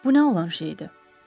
Bu nə olan şey idi?